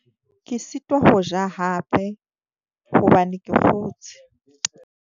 Ke sitwa ho ja hape hobane ke kgotshe.